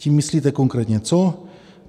- Tím myslíte konkrétně co?